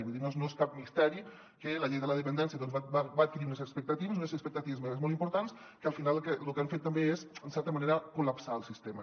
vull dir no és cap misteri que la llei de la dependència va adqui·rir unes expectatives unes expectatives molt importants que al final lo que han fet també és en certa manera col·lapsar el sistema